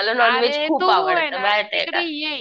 अरे तू ये ना तिकडे ये